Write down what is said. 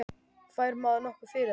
Fær maður nokkuð fyrir það?